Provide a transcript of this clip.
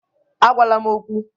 Agwala m okwu!